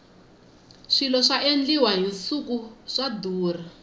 swilo swa endliwa hi nsuku swa durha